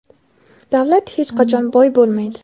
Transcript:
davlat hech qachon boy bo‘lmaydi.